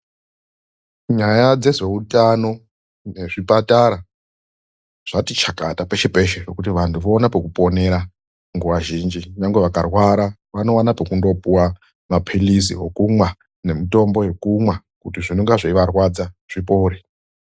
Nyaya dzezveutano nezvipatara zvati chakata peshepeshe kuti vantu vaone pekuponera, nguva zhinji nyangwe vakarwarwa vaone kokundopuwa mutombo wokumwa nemapilisi ekumwa kuti zvose zvinenge zveivarwadza zvipore